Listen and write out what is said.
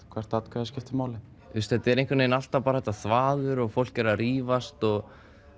hvert atkvæði skiptir máli þetta er einhvern vegin alltaf bara þetta þvaður og fólk er að rífast og